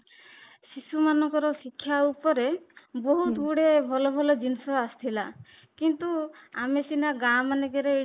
ସେମାନଙ୍କର ଶିକ୍ଷା ଉପରେ ବହୁତ ଗୁଡ଼େ ଭଲ ଭଲ ଜିନିଷ ଆସିଥିଲା କିନ୍ତୁ ଆମେ ସିନା ଗାଁ ମାନଙ୍କରେ ଏଇ